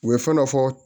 U ye fɛn dɔ fɔ